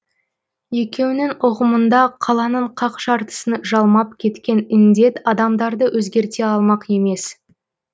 екеуінің ұғымында қаланың қақ жартысын жалмап кеткен індет адамдарды өзгерте алмақ емес